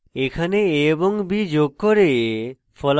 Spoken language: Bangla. এখানে a এবং b যোগ করে